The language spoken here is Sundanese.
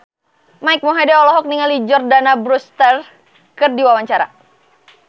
Mike Mohede olohok ningali Jordana Brewster keur diwawancara